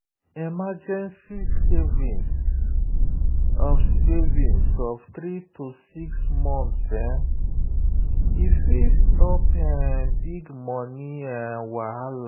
emergency savings of savings of 3–6 months fit stop um big money um wahala.